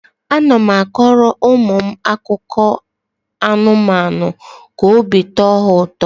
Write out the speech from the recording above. A na m akọrọ ụmụ m akụkọ anụmanụ ka obi tọọ ha ụtọ.